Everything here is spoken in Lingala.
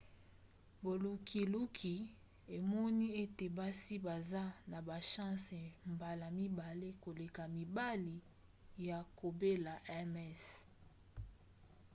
bolukiluki emoni ete basi baza na bachance mbala mibale koleka mibali ya kobela ms